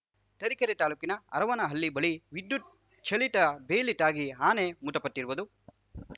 ತರೀಕೆರೆ ತಾಲೂಕಿನ ಹರುವನಹಳ್ಳಿ ಬಳಿ ವಿದ್ಯುತ್‌ ಚಲಿತ ಬೇಲಿ ತಾಗಿ ಆನೆ ಮೃತಪಟ್ಟಿರುವುದು